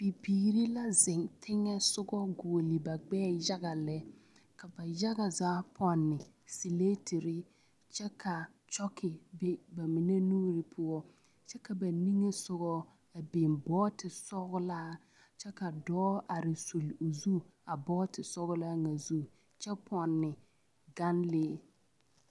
Bibiiri la zeŋ teŋɛ soga a goɔle ba gbɛɛ yaga lɛ ka ba yaga zaa pɔnne siletere kyɛ ka a kyɔge be ba mine nuuri poɔ kyɛ ka ba niŋɛ sɔga a biŋ bɔɔte sɔglaa kyɛ ka dɔɔ a are zuli zu a bɔɔte sɔglaa ŋa zu kyɛ pɔnne ganlee.